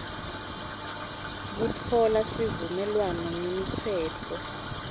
kutfola sivumelwano ngemitsetfo